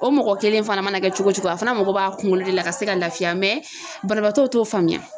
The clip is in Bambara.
O mɔgɔ kelen fana mana kɛ cogo cogo a fana mago b'a kunkolo de la ka se ka lafiya banabaatɔw t'o faamuya.